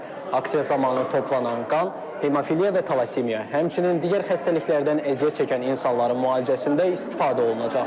Aksiya zamanı toplanan qan hemofiliya və talasemiya, həmçinin digər xəstəliklərdən əziyyət çəkən insanların müalicəsində istifadə olunacaq.